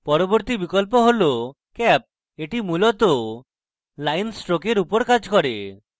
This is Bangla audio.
পরবর্তী বিকল্প হল cap এটি মুলত line strokes উপর cap করে